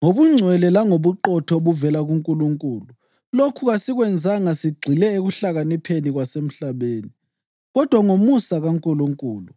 ngobungcwele langobuqotho obuvela kuNkulunkulu. Lokhu kasikwenzanga sigxile ekuhlakanipheni kwasemhlabeni, kodwa ngomusa kaNkulunkulu.